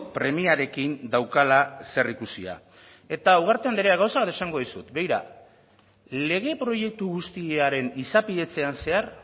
premiarekin daukala zerikusia eta ugarte andrea gauza bat esango dizut begira lege proiektu guztiaren izapidetzean zehar